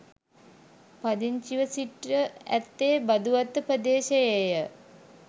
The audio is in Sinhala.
පදිංචිව සිට ඇත්තේ බදුවත්ත ප්‍රදේශයේය.